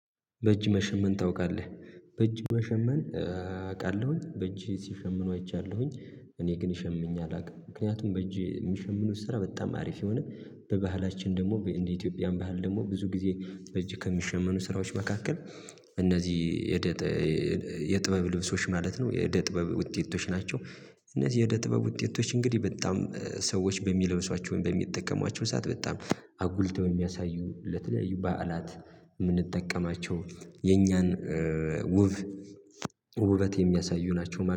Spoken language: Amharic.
በእጅ መሸመን ታውቃለህ? በእጅ መሸመን። አውቃለሁኝ በእጅ ሲሸምኑ አይቻለሁኝ እኔ ግን ሸምኝ አላውቅም ምክንያቱም በእጄ የሚሸምኑት ስራ በጣም አሪፍ የሆነ። በባህላችን ደግሞ እንደ ኢትዮጵያን ባህል ደግሞ ብዙ ጊዜ እጅ ከሚሸመኑ ስራዎች መካከል እነዚህ የደ የጥበብ ልብሶች ማለት ነው የደ ጥበብ ውጤቶች ናቸው። እነዚህ የደ ጥበብ ውጤቶች እንግዲህ በጣም ሰዎች በሚለብሷቸውን በሚጠቀሟቸው ሰዓት በጣም አጉልተው የሚያሳዩ ለተለያዩ በዓላት የምንጠቀማቸው የኛን ውብ ውበት የሚያሳዩ ናቸው